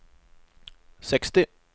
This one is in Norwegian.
seksti